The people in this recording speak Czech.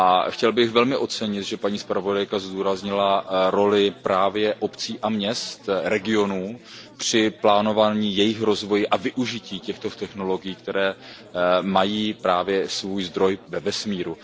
Chtěl bych velmi ocenit, že paní zpravodajka zdůraznila roli právě obcí a měst a regionů při plánování jejich rozvoje a využití těchto technologií, které mají svůj zdroj ve vesmíru.